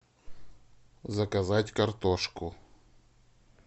заказать картошку